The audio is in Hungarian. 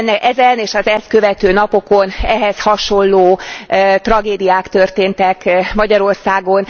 Ezen és az ezt követő napokon ehhez hasonló tragédiák történtek Magyarországon.